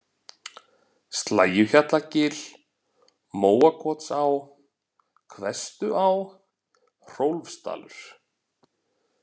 Slægjuhjallagil, Móakotsá, Hvestuá, Hrólfsdalur